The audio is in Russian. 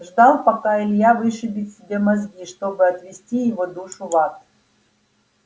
ждал пока илья вышибет себе мозги чтобы отвести его душу в ад